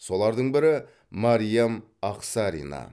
солардың бірі мәриям ақсарина